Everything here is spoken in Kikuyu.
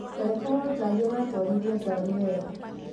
Ndereba wa gari aratwarithia gari wega